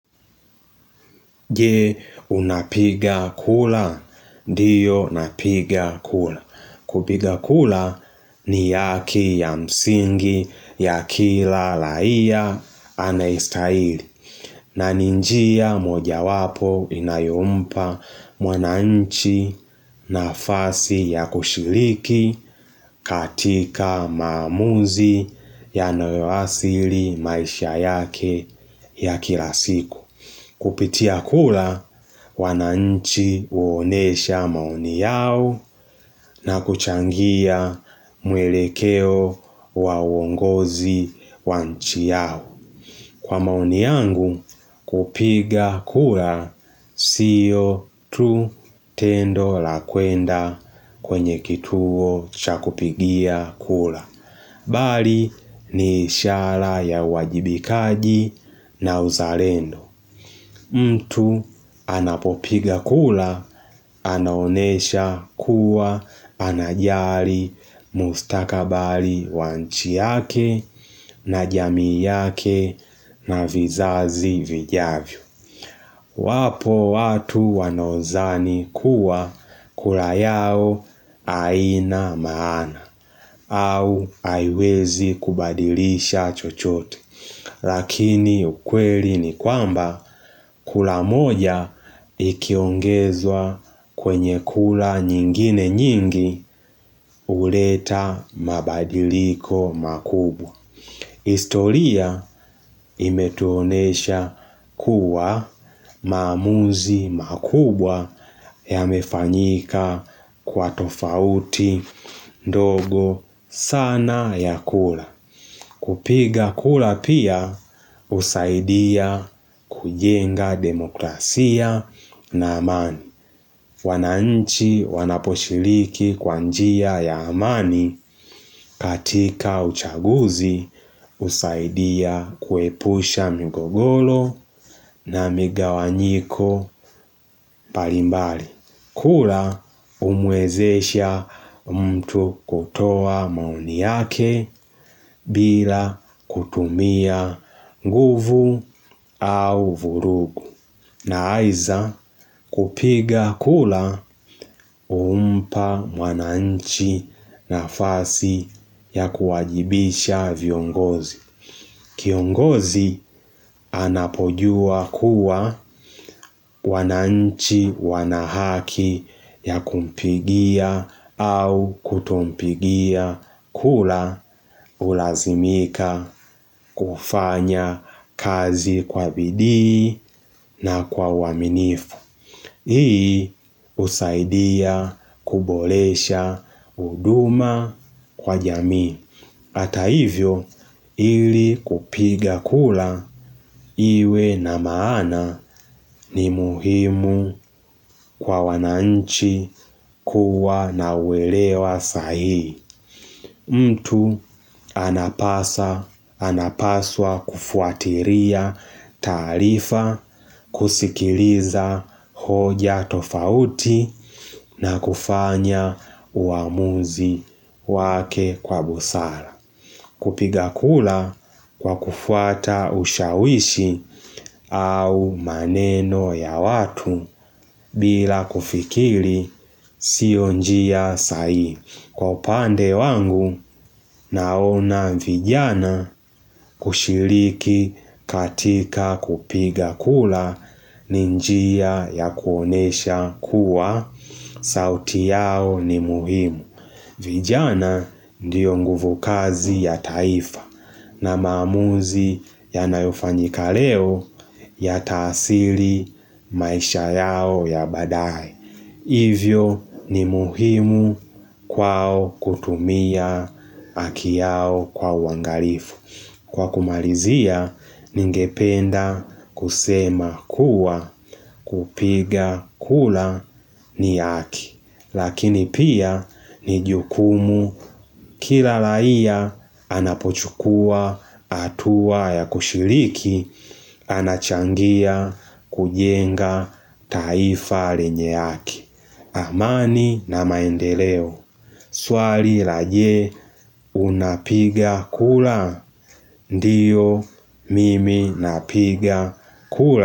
Je unapiga kura, ndiyo unapiga kura. Kupiga kura ni haki ya msingi ya kila raia anaistahili. Na ni njia moja wapo inayompa mwananchi nafasi ya kushiliki katika maamuzi ya nawewasili maisha yake ya kila siku. Kupitia kula, wananchi huonesha maoni yao na kuchangia mwelekeo wa uongozi wa nchi yao. Kwa maoni yangu, kupiga kura siyo tu tendo la kwenda kwenye kituo chakupigia kura. Bali ni ishara ya wajibikaji na uzalendo. Mtu anapopiga kura, anonyesha kuwa anajari mustakabali wa nchi yake na jamii yake na vizazi vijavyo. Wapo watu wanaozani kuwa kura yao aina maana au aiwezi kubadilisha chochote. Lakini ukweli ni kwamba kula moja ikiongezwa kwenye kula nyingine nyingi uleta mabadiliko makubwa historia imetonesha kuwa maamuzi makubwa yamefanyika kwa tofauti ndogo sana ya kula kupiga kula pia usaidia kujenga demokrasia na amani. Wananchi wanaposhiliki kwanjia ya amani katika uchaguzi usaidia kuepusha mgogolo na migawanyiko mbalimbali. Kura umwezesha mtu kutoa maoni yake bila kutumia nguvu au vurugu. Na aiza kupiga kula umpa wananchi na fasi ya kuwajibisha viongozi. Kiongozi anapojua kuwa wananchi wanahaki ya kumpigia au kutompigia kula ulazimika kufanya kazi kwa bidii na kwa uaminifu. Hii usaidia kubolesha uduma kwa jamii. Hata hivyo, ili kupiga kula iwe na maana ni muhimu kwa wananchi kuwa na uelewa sahihi. Mtu anapasa, anapaswa kufuatiria taarifa, kusikiliza hoja tofauti na kufanya uamuzi wake kwa busala. Kupiga kula kwa kufuata ushawishi au maneno ya watu bila kufikili sio njia sahihi. Kwa upande wangu naona vijana kushiliki katika kupiga kula ninjia ya kuonyesha kuwa sauti yao ni muhimu. Vijana ndiyo nguvukazi ya taifa na maamuzi yanayofanyika leo ya taasili maisha yao ya badae. Hivyo ni muhimu kwao kutumia aki yao kwa uangalifu. Kwa kumalizia, ningependa kusema kuwa kupiga kula ni haki. Lakini pia ni jukumu kila laia anapochukua atuwa ya kushiliki anachangia kujenga taifae lenye haki. Amani na maendeleo. Swali la je unapiga kula? Ndiyo mimi napiga kula.